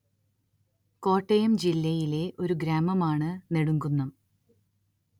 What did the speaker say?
കോട്ടയം ജില്ലയിലെ ഒരു ഗ്രാമമാണ്‌ നെടുംകുന്നം